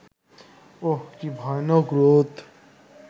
উঃ কি ভয়ানক রোদ